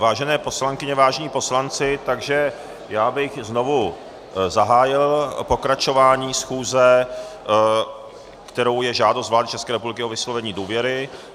Vážené poslankyně, vážení poslanci, takže já bych znovu zahájil pokračování schůze, kterou je žádost vlády České republiky o vyslovení důvěry.